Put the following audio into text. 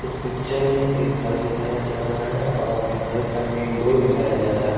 इस पिक्चर में एक घर दिखाया जा रहा है और घर का मेन डोर दिखाया जा रहा है।